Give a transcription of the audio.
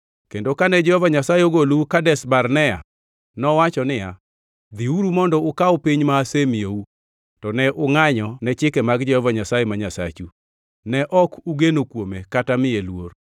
Kendo kane Jehova Nyasaye ogolou Kadesh Barnea nowacho niya, “Dhiuru mondo ukaw piny ma asemiyou.” To ne ungʼanyo ne chike mag Jehova Nyasaye ma Nyasachu, ne ok ugeno kuome kata miye luor.